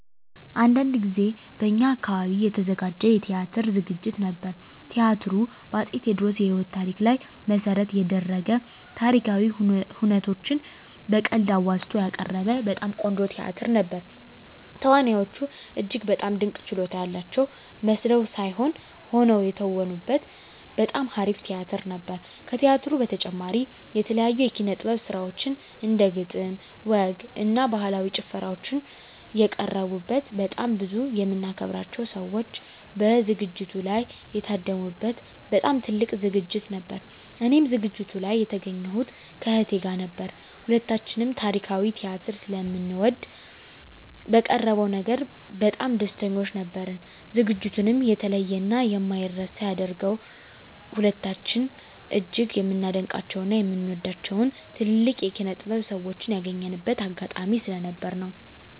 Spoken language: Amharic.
አንድ ጊዜ በእኛ አካባቢ የተዘጋጀ የቲያትር ዝግጅት ነበር። ቲያትሩ በ አፄ ቴዎድሮስ የህይወት ታሪክ ላይ መሰረት የደረገ ታሪካዊ ሁነቶችን በቀልድ አዋዝቶ ያቀረበ በጣም ቆንጆ ቲያትር ነበር። ተዋናዮቹ እጅግ በጣም ድንቅ ችሎታ ያላቸው መስለው ሳይሆን ሆነው የተወኑበት በጣም አሪፍ ቲያትር ነበር። ከቲያትሩ በተጨማሪም የተለያዩ የኪነ - ጥበብ ስራዎች እንደ ግጥም፣ ወግ እና ባህላዊ ጭፈራዎች የቀረቡበት በጣም ብዙ የምናከብራቸው ሰዎች በዝግጅቱ ላይ የታደሙ በት በጣም ትልቅ ዝግጅት ነበር። እኔም ዝግጅቱ ላይ የተገኘሁት ከእህቴ ጋር ነበር። ሁለታችንም ታሪካዊ ቲያትር ስለምንወድ በቀረበው ነገር በጣም ደስተኞች ነበርን። ዝግጅቱንም የተለየ እና የማይረሳ ያደረገው ሁለታችንም እጅግ የምናደንቃቸው እና የምንወዳቸውን ትልልቅ የኪነ -ጥበብ ሰዎችን ያገኘንበት አጋጣሚ ስለነበር ነው።